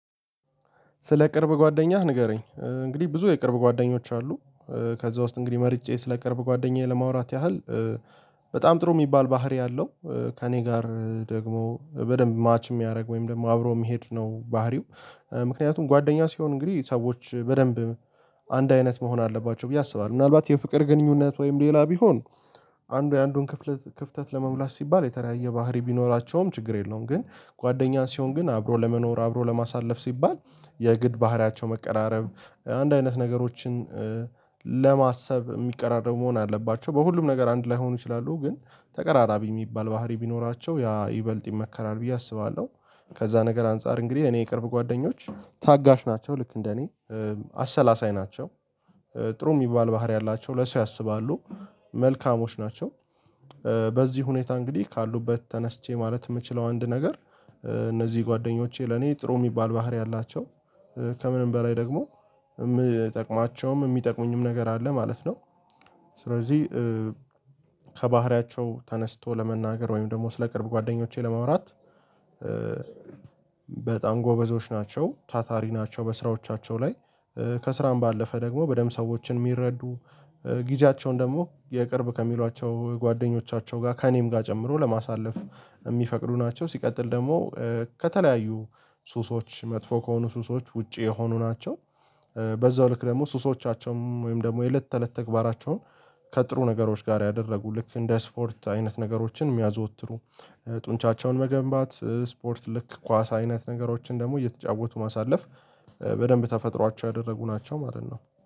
ስለ ቅርብ ጓደኛህ ንገረኝ እንግዲህ ብዙ የቅርብ ጓደኞች አሉ። ከዚያ ውስጥ እንግዲህ መርጬ ስለቅርብ ጓደኛዬ ለማውራት ያህል በጣም ጥሩ የሚባል ባህሪ አለው። ከእኔ ጋር ደግሞ በደንብ ማች የሚያደርግ ወይም ደግሞ አብሮ የሚሄድ ነው ባህሪው። ምክንያቱም ጓደኛ ሲሆን እንግዲህ ሰዎች በደንብ አንድ አይነት መሆን አለባቸው ብዬ አስባለሁ ምናልባት የፍቅር ግንኙነት ወይም ሌላ ቢሆን። አንዱ የአንዱን ክፍተት ክፍተት ለመሙላት ሲባል የተለያየ ባህሪ ቢኖራቸውም ችግር የለውም። ግን ጓደኛህ ሲሆን ግን አብሮ ለመኖር አብሮ ለማሳለፍ ሲባል የግድ ባህሪያቸው መቀራረብ አንድ አይነት ነገሮችን ለማሰብ የሚቀራረብ መሆን አለባቸው በሁሉም ነገር አንድ ላይሆኑ ይችላሉ ግን ተቀራራቢ የሚባል ባህሪ ቢኖራቸው ያ ይበልጥ ይመከራል ብዬ አስባለሁ። ከዚያ ነገር አንፃር እንግዲህ እኔ የቅርብ ጓደኞች ታጋሽ ናቸው ልክ እንደ እኔ አሰላሳይ ናቸው። ጥሩ የሚባል ባህሪ አላቸው ለሰው ያስባሉ መልካሞች ናቸው። በዚህ ሁኔታ እንግዲህ ካሉበት ተነስቼ ማለት የምችለው አንድ ነገር እነዚህ ጓደኞቼ ለኔ ጥሩ የሚባል ባህሪ አላቸው። ከምንም በላይ ደግሞ የምጠቅማቸውም የሚጠቅሙኝም ነገር አለ ማለት ነው። ስለዚህ ከባህሪያቸው ተነስቶ ለመናገር ወይም ደግሞ ስለ ቅርብ ጓደኞቼ ለማውራት በጣም ጎበዞች ናቸው ታታሪ ናቸው በስራዎቻቸው ላይ። ከስራም ባለፈ ደግሞ በደንብ ሰዎችን የሚረዱ ጊዜያቸውን ደግሞ የቅርብ ከሚሏቸው ጓደኞቻቸው ጋር ከእኔም ጋር ጨምሮ ለማሳለፍ የሚፈቅዱ ናቸው። ሲቀጥል ደግሞ ከተለያዩ ሱሶች መጥፎ ከሆኑ ሱሶች ውጪ የሆኑ ናቸው። በዚያው ልክ ደግሞ ሱሶቻቸውም ወይም ደግሞ የለት ተለት ተግባራቸውን ከጥሩ ነገሮች ጋር ያደረጉ ልክ እንደ ስፖርት አይነት ነገሮችን የሚያዘወትሩ። ጡንቻቸውን መገንባት ስፖርት ልክ ኳስ አይነት ነገሮችን ደግሞ እየተጫወቱ ማሳለፍ በደንብ ተፈጥሯቸው ያደረጉ ናቸው ማለት ነው